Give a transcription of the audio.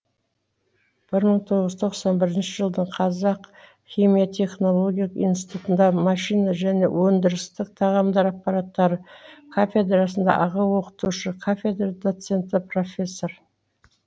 бір мың тоғыз жүз тоқсан бірінші жылдан қазақ химия технологиялық институтында машина және өндірістік тағамдар аппараттары кафедрасында аға оқытушы кафедра доценті профессор